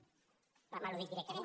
m’ha al·ludit directament